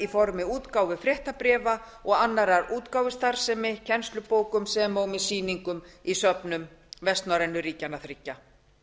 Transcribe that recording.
formi útgáfu fréttabréfa og annarrar útgáfustarfsemi kennslubókum sem og með sýningum í söfnum vestnorrænu ríkjanna þriggja